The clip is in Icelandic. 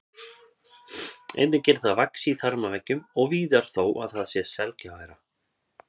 Einnig getur það vaxið í þarmaveggjum og víðar þó að það sé sjaldgæfara.